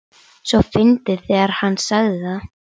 svo fyndið þegar HANN sagði það!